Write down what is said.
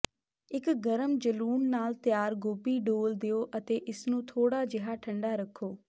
ਇੱਕ ਗਰਮ ਜਲੂਣ ਨਾਲ ਤਿਆਰ ਗੋਭੀ ਡੋਲ੍ਹ ਦਿਓ ਅਤੇ ਇਸਨੂੰ ਥੋੜਾ ਜਿਹਾ ਠੰਡਾ ਰੱਖੋ